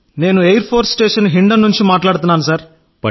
నేను air force station Hindon నుండి మాట్లాడుతున్నాను